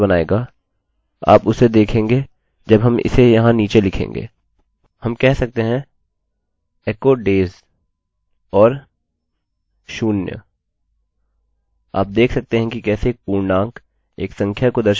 इसे जो दिखने में बेहतर बनाएगा आप उसे देखेंगे जब हम इसे यहाँ नीचे लिखेंगे हम कह सकते हैं echo days और zero आप देख सकते हैं कि कैसे एक पूर्णांक एक संख्या को दर्शाने के लिए वह लाल रंग में है